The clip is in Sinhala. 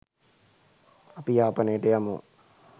අපි යාපනයට යමු.